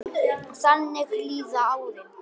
Þannig líða árin.